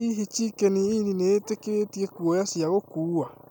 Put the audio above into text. hĩhĩ chicken inn niĩtikiritie kũoya cĩa gũkũwa